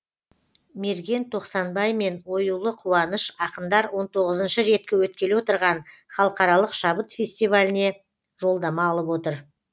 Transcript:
мерген тоқсанбай мен оюлы қуаныш ақындар он тоғызыншы рет өткелі отырған халықаралық шабыт фестиваліне жолдама алып отыр